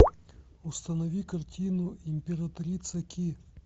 установи картину императрица ки